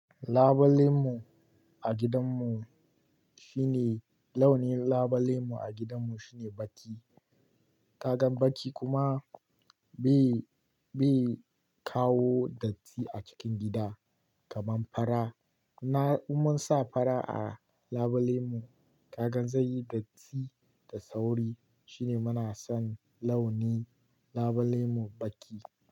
Labulenmu a gidanmu shine, launin labulemu a gidanmu shine baƙi. Kagan baƙi kuma bai, bai kawo datti a cikin gida kamar fara. Na umar sa fara a labulemu, kaga zai yi datti da sauri. Shine muna son launi labulemu baƙi.